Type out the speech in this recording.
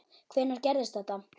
Hvenær gerðist þetta?